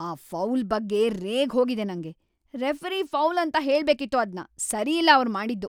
ಆ ಫೌಲ್‌ ಬಗ್ಗೆ ರೇಗ್‌ ಹೋಗಿದೆ ನಂಗೆ! ರೆಫರಿ ಫೌಲ್‌ ಅಂತ ಹೇಳ್ಬೇಕಿತ್ತು ಅದ್ನ. ಸರಿಯಿಲ್ಲ ಅವ್ರ್‌ ಮಾಡಿದ್ದು.